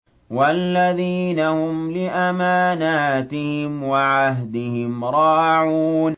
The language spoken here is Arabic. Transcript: وَالَّذِينَ هُمْ لِأَمَانَاتِهِمْ وَعَهْدِهِمْ رَاعُونَ